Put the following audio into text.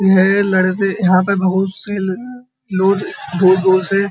यह लड़के यहाँ पर बोहोत सी ल लोग जोर-जोर से --